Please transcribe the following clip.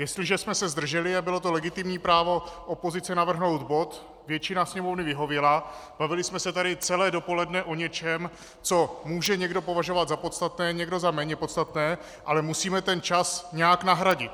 Jestliže jsme se zdrželi - a bylo to legitimní právo opozice navrhnout bod, většina Sněmovny vyhověla, bavili jsme se tady celé dopoledne o něčem, co může někdo považovat za podstatné, někdo za méně podstatné, ale musíme ten čas nějak nahradit.